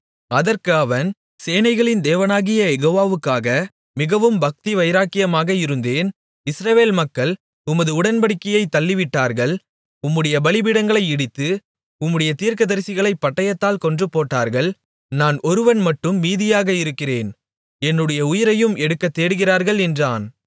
அதற்கு அவன் சேனைகளின் தேவனாகிய யெகோவாவுக்காக மிகவும் பக்திவைராக்கியமாக இருந்தேன் இஸ்ரவேல் மக்கள் உமது உடன்படிக்கையைத் தள்ளிவிட்டார்கள் உம்முடைய பலிபீடங்களை இடித்து உம்முடைய தீர்க்கதரிசிகளைப் பட்டயத்தால் கொன்றுபோட்டார்கள் நான் ஒருவன் மட்டும் மீதியாக இருக்கிறேன் என்னுடைய உயிரையும் எடுக்கத் தேடுகிறார்கள் என்றான்